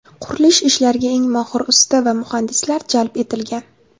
Qurilish ishlariga eng mohir usta va muhandislar jalb etilgan.